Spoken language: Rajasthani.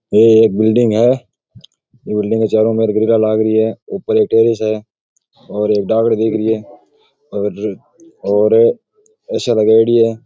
ये एक बिल्डिंग है बिल्डिंग के चारो मेर लाग रही है ऊपर एक टेर्रिस है और एक डागलो दिख रही है और और ए.सी. लगाउडी है।